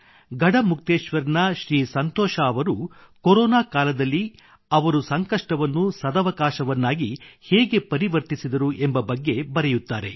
ಗಢಮುಕ್ತೇಶ್ವರ್ ನ ಶ್ರೀ ಸಂತೋಷ್ ಅವರು ಕೊರೊನಾ ಕಾಲದಲ್ಲಿ ಅವರು ಸಂಕಷ್ಟವನ್ನು ಅವಕಾಶವನ್ನಾಗಿ ಹೇಗೆ ಪರಿವರ್ತಿಸಿದರು ಎಂಬ ಬಗ್ಗೆ ಬರೆಯುತ್ತಾರೆ